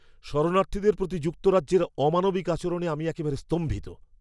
শরণার্থীদের প্রতি যুক্তরাজ্যের অমানবিক আচরণে আমি একেবারে স্তম্ভিত।